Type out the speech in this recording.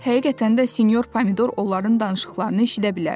Həqiqətən də sinyor Pomidor onların danışıqlarını eşidə bilərdi.